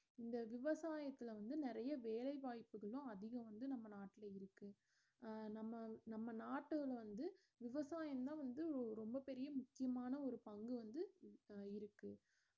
இந்த விவசாயத்துல வந்து நெறைய வேலை வாய்ப்புகளும் அதிகம் வந்து நம்ம நாட்டுல இருக்கு அஹ் நம்ம நம்ம நாட்டுல வந்து விவசாயம்தான் வந்து ரொம்ப பெரிய முக்கியமான ஒரு பங்கு வந்து இப்ப இருக்கு